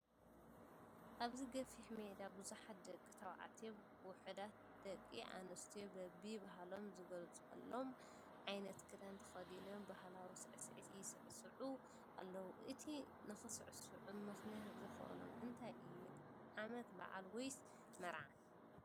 ኣብዚ ገፊሕ ሜዳ ብዙሓት ደቂ ተባዕትዮን ውሑዳት ኣዲ ኣነስትዮን በቢ ባህሎም ዝገልፀሎም ዓይነት ክዳን ተኸዲኖም ባህላዊ ሳዕስዒ ይስዕስዑ ኣለዉ፡፡ እቲ ንክስዕስዑ ምክንያት ዝኾኖም እንታይ እዩ ? ዓመት በዓል ወይስ መርዓ?